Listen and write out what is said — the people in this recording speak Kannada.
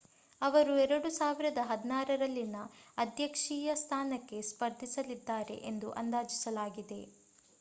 ಅವರು 2016ರಲ್ಲಿನ ಅಧ್ಯಕ್ಷೀಯ ಸ್ಥಾನಕ್ಕೆ ಸ್ಪರ್ಧಿಸಲಿದ್ದಾರೆ ಎಂದು ಅಂದಾಜಿಸಲಾಗಿದೆ